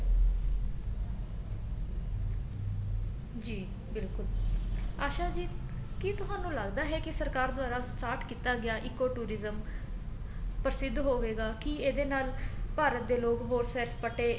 ਜੀ ਬਿਲਕੁਲ ਆਸ਼ਾ ਜੀ ਕੀ ਤੁਹਾਨੂੰ ਲੱਗਦਾ ਹੈ ਕੀ ਸਰਕਾਰ ਦੁਆਰਾ start ਕੀਤਾ ਗਿਆ ECO tourism ਪ੍ਰਸਿਧ ਹੋਵੇਗਾ ਕੀ ਇਹਦੇ ਨਾਲ ਭਾਰਤ ਦੇ ਲੋਕ ਹੋਰ ਸੈਰ ਸਪਾਟੇ